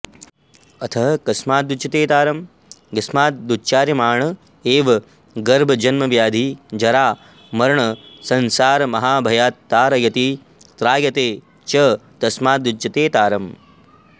अथ कस्मादुच्यते तारं यस्मादुच्चार्यमाण एव गर्भजन्मव्याधिजरामरणसंसारमहाभयात्तारयति त्रायते च तस्मादुच्यते तारम्